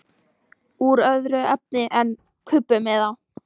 Úr öðru efni en kubbum eða?